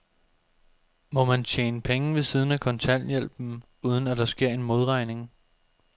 Må man tjene penge ved siden af kontanthjælpen, uden at der sker en modregning?